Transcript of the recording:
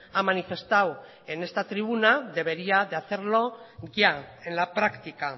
ha manifestado en esta tribuna debería hacerlo ya en la práctica